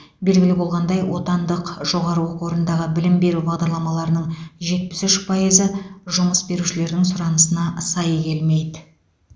белгілі болғандай отандық жоғары оқу орындағы білім беру бағдарламаларының жетпіс үш пайызы жұмыс берушілердің сұранысына сай келмейді